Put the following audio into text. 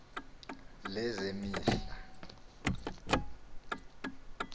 lezemihla